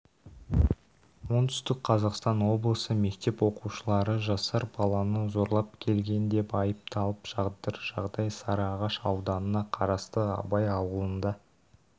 оңтүстік қазақстан облысы мектеп оқушылары жасар баланы зорлап келген деп айыпталып жатыр жағдай сарыағаш ауданына қарасты абай ауылында